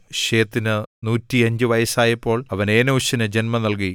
ശേത്തിന് 105 വയസ്സായപ്പോൾ അവൻ ഏനോശിനെ ജന്മം നൽകി